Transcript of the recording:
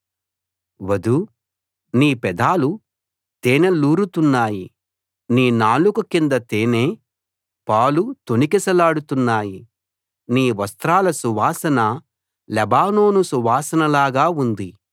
వధూ నీ పెదాలు తేనెలూరుతున్నాయి నీ నాలుక కింద తేనె పాలు తొణికిసలాడుతున్నాయి నీ వస్త్రాల సువాసన లెబానోను సువాసనలాగా ఉంది